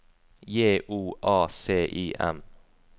J O A C I M